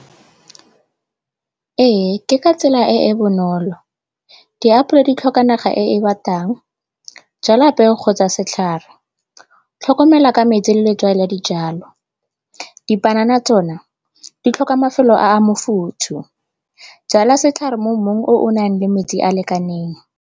Ee, ke ka tsela e e bonolo. Diapolo di tlhoka naga e e batang, jala peo kgotsa setlhare, tlhokomela ka metsi le letswai la dijalo. Dipanana tsona di tlhoka mafelo a a mofuthu, jala setlhare mo mmung o o nang le metsi a lekaneng.